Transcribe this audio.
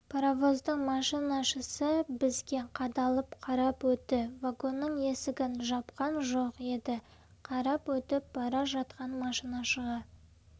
паровоздың машинашысы бізге қадалып қарап өтті вагонның есігін жапқан жоқ еді қарап өтіп бара жатқан машинашыға